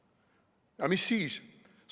Ja mis siis?